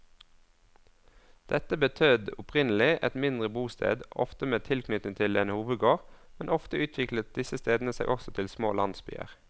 Dette betød opprinnelig et mindre bosted, ofte med tilknytning til en hovedgård, men ofte utviklet disse stedene seg også til små landsbyer.